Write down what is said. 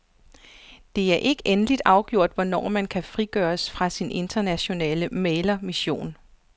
Det er ikke endeligt afgjort, hvornår han kan frigøres fra sin internationale mæglermission.